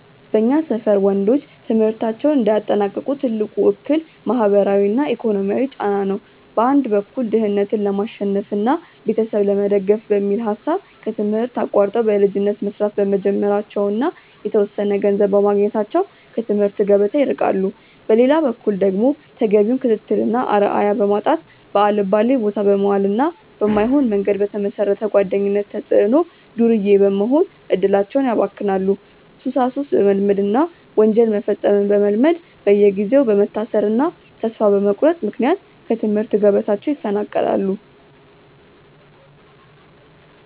በእኛ ሰፈር ወንዶች ትምህርታቸውን እንዳያጠናቅቁ ትልቁ እክል ማህበራዊና ኢኮኖሚያዊ ጫና ነው። በአንድ በኩል ድህነትን ለማሸነፍና ቤተሰብ ለመደገፍ በሚል ሐሳብ ከትምህርት አቋርጠው በልጅነት መስራት በመጀመራቸውና የተወሰነ ገንዘብ በማግኘታቸው ከትምህርት ገበታ ይርቃሉ። በሌላ በኩል ደግሞ ተገቢውን ክትትልና አርአያ በማጣት፣ ባልባሌቦታ በመዋልና በማይሆን መንገድ በተመሰረተ ጓደኝነት ተጽዕኖ ዱርዬ በመሆን እድላቸውን ያባክናሉ፤ ሱሳሱስ በመልመድና ወንጀል መፈጸምን በመልመድ በየጊዜው በመታሰርና ተስፋ በመቁረጥ ምክንያት ከትምህርት ገበታቸው ይፈናቀላሉ።